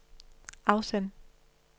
afsend